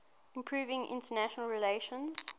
improving international relations